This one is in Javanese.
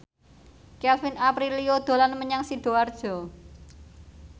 Kevin Aprilio dolan menyang Sidoarjo